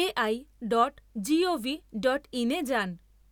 A I dot G O V dot in এ যান।